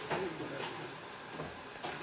o re ge nkabe e